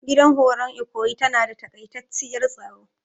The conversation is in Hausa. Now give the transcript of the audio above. Gidan horon ikoyi tana da takaitaciyar staro.